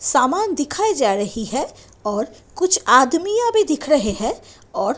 सामान दिखाई जा रही है और कुछ आदमीया भी दिख रहे हैं और--